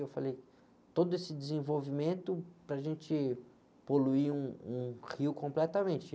Eu falei, todo esse desenvolvimento para a gente poluir um, um rio completamente.